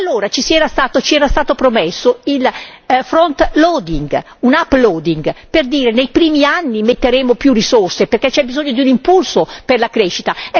Allora ci era stato promesso il front loading un uploading per dire i primi anni metteremo più risorse perché c'è bisogno di un impulso per la crescita.